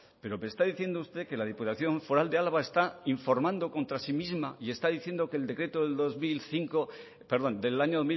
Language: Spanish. pero me está diciendo usted que la diputación foral de álava está informando contra sí misma y está diciendo que el decreto del dos mil cinco perdón del año